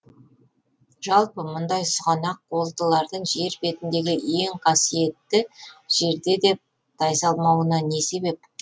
жалпы мұндай сұғанақ қолдылардың жер бетіндегі ең қасиетті жерде де тайсалмауына не себеп